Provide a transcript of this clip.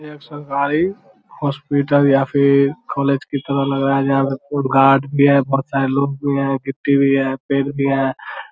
यह एक सरकारी हॉस्पिटल या फिर कॉलेज की तरह लग रहा है । जहां पे खूब गार्ड भी है । बहोत सारे लोग भी है । गिट्टी भी है पेड़ भी है ।